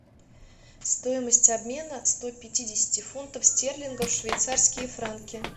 стоимость обмена ста пятидесяти фунтов стерлингов в швейцарские франки